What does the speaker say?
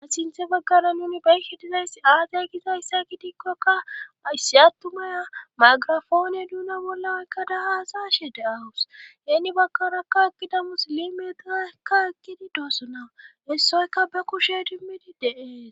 asinthe baggana nuni bayhi dizayssi aazay gizayssa gidikkokka ayssi attumaya maagirafoone duuna bolla kkada haasashe deawus heeni bakkarakka ekkidamus limetakka ekkidi doossona hessoyka ba kushe dimmidi deee